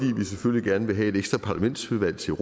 vi selvfølgelig gerne vil have et ekstra parlamentsmedlem til